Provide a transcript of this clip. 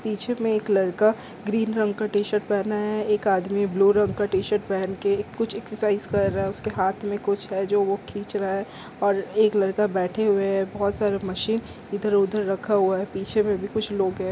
पीछे में एक लड़का ग्रीन रंग का टी शर्ट पहना है एक आदमी ब्लू रंग का टी शर्ट पहन के कुछ एक्सरसाइज कर रहा है उसके हाथ म कुछ है जो वो खींच रहा है और एक लड़का बैठे हुए है बहोत सारे मशीन इधर उधर रखा हुआ है पीछे में भी कुछ लोग है।